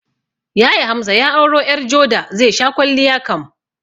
Yaya Hamza ya auro ƴar joda, zai sha kwalliya kam